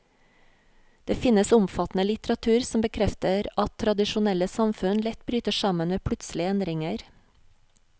Det finnes omfattende litteratur som bekrefter at tradisjonelle samfunn lett bryter sammen ved plutselige endringer.